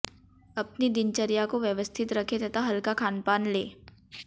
अपनी दिनचर्या को व्यवस्थित रखें तथा हल्का खानपान लें